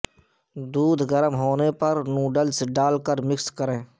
دودھ گرم ہونے پر نوڈلز ڈال کر مکس کریں